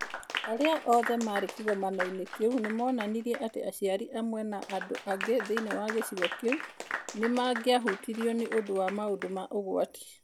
Arĩa othe maarĩ kĩgomano-inĩ kĩu nĩ moonanirie atĩ aciari amwe na andũ angĩ thĩinĩ wa gĩcigo kĩu nĩ mangĩahutirio nĩ ũndũ wa maũndũ ma ũgwati.